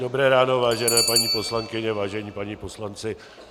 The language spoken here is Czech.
Dobré ráno, vážené paní poslankyně, vážení páni poslanci.